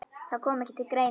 Það kom ekki til greina.